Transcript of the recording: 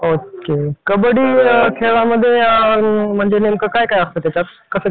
त्यानंतर एस.टी महामंडळ मधला जो ड्रायव्हर असतो तो ड्रायव्हर चे काम करतो